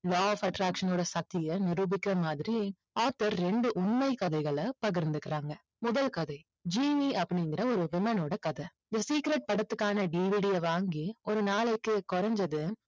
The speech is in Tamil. law of attraction ஓட சக்தியை நிரூபிக்கிற மாதிரி author ரெண்டு உண்மை கதைகளை பகிர்ந்துக்குறாங்க. முதல் கதை ஜீனி அப்படிங்கற ஒரு women ஓட கதை இந்த secret படத்துக்கான DVD அ வாங்கி ஒரு நாளைக்கு குறைஞ்சது